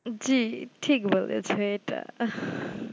জি ঠিক বলেছো এটা